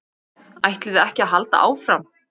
ÆTLIÐI EKKI AÐ HALDA ÁFRAM?